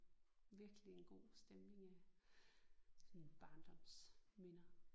Virkelig en god stemning af sådan barndomsminder